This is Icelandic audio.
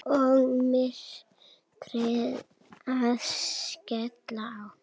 Og myrkrið að skella á.